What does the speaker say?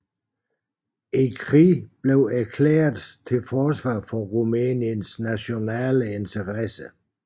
Krigen erklæredes til forsvar for Rumæniens nationale interesser